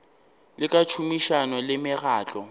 le ka tšhomišano le mekgatlo